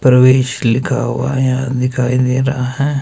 प्रवेश लिखा हुआ यहां दिखाई दे रहा हैं।